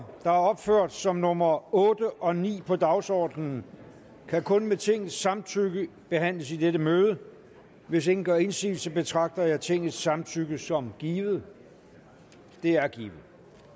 der er opført som nummer otte og ni på dagsordenen kan kun med tingets samtykke behandles i dette møde hvis ingen gør indsigelse betragter jeg tingets samtykke som givet det er givet